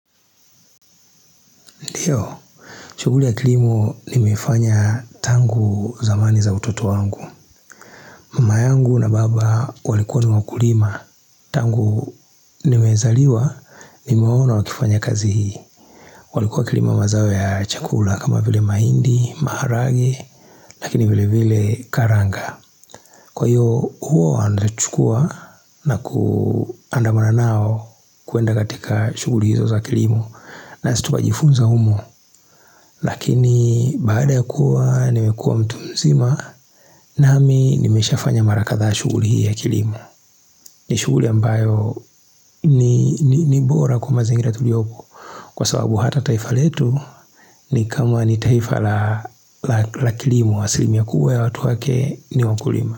Ndiyo, shuguli ya kilimu nimefanya tangu zamani za utoto wangu Mama yangu na baba walikuwa niwakulima Tangu nimezaliwa, nimeona wakifanya kazi hii walikuwa wakilima mazao ya chakula kama vile maindi, maharage Lakini vile vile karanga Kwa hiyo, huo waandachukua na kuandamanao kuenda katika shuguli hizo za kilimo na situtwa jifunza umo Lakini baada ya kuwa nimekua mtumzima nami nimeshafanya mara kadhaa shuguli hii ya kilimo ni shuguli ambayo ni bora kwa mazingira tuliopo Kwa sababu hata taifa letu ni kama ni taifa la kilimo asilimia kubwa ya watu wake ni wakulima.